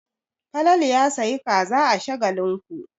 Falalu ya sayi kaza a Shagalinku.